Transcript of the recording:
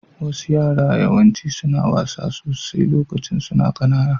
Wasu yara maza yawanci suna wasa sosai lokacin su na kananan